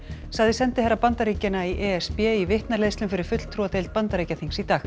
sagði sendiherra Bandaríkjanna í e s b í vitnaleiðslum fyrir fulltrúadeild Bandaríkjaþings í dag